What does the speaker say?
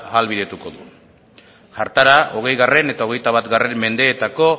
ahalbidetuko du hartara hogei eta hogeita bat mendeetako